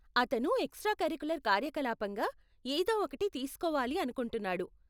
అతను extra curricular కార్యకలాపంగా ఏదో ఒకటి తీస్కోవాలి అనుకుంటున్నాడు.